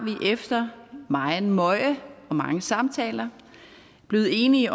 vi efter megen møje og mange samtaler blevet enige